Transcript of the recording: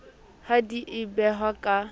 ha di a behwa ka